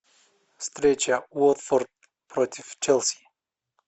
встреча уотфорд против челси